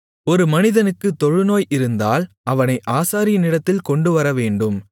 ஒரு மனிதனுக்கு தொழுநோய் இருந்தால் அவனை ஆசாரியனிடத்தில் கொண்டுவரவேண்டும்